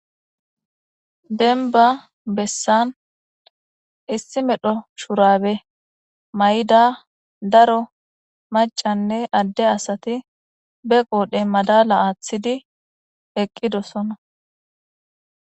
Dembba bessan issi medho shurabe may'ida daro macanne adde asati be qoodhe maddala aaththidi eqqidosonna